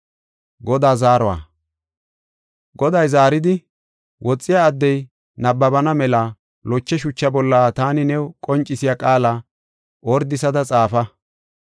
Goday zaaridi, “Woxiya addey nabbabana mela loche shucha bolla taani new qoncisiya qaala ordisada xaafa.